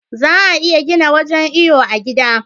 Za'a iya gina wajan iyo a gida